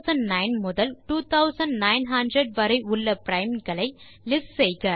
2009 முதல் 2900 வரை உள்ள பிரைம்ஸ் களை லிஸ்ட் செய்க